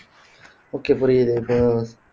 okay புரியுது இப்போ